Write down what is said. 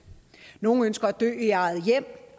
nogle ønsker at dø i eget hjem